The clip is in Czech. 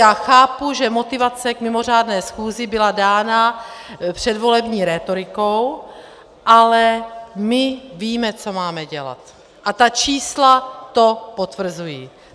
Já chápu, že motivace k mimořádné schůzi byla dána předvolební rétorikou, ale my víme, co máme dělat, a ta čísla to potvrzují.